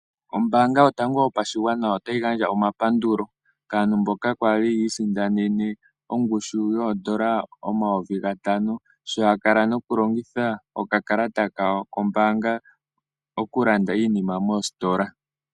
Ombaanga yotango yopashigwana otayi gandja omapandulo kaantu mboka yaali yiisindanene ongushu yoodola N$5000 sho yakala nokulongitha okakalata kombaanga okulanda iinima moositola.